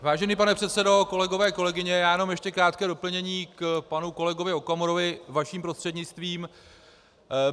Vážený pane předsedo, kolegové, kolegyně, já jenom ještě krátké doplnění k panu kolegovi Okamurovi, vaším prostřednictvím.